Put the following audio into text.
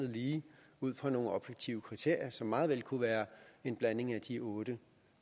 lige ud fra nogle objektive kriterier som meget vel kunne være en blanding af de otte